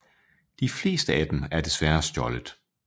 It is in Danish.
De fleste af dem er desværre stjålet